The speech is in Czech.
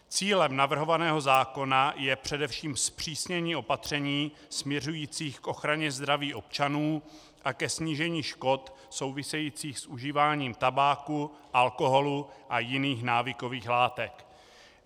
Cílem navrhovaného zákona je především zpřísnění opatření směřujících k ochraně zdraví občanů a ke snížení škod souvisejících s užíváním tabáku, alkoholu a jiných návykových látek.